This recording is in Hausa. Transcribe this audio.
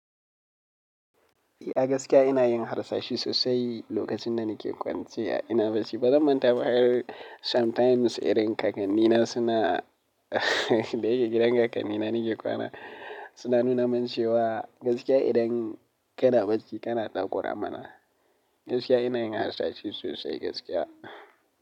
A gaskiya ina yin harsashi sosai lokacin da nake kwance a ina bacci. Bazan manta ba har sometimes idan kakannina suna da yake gidan kakannina nake kwana suna nuna min cewa gaskiya idan kana bacci kana ɗakoramana. Gaskiya ina yin harsashi sosai gaskiya.